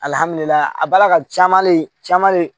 Alihamdulila a ba ka ca le caman le